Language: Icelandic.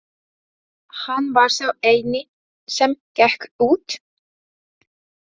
Hann var sá eini sem gekk út.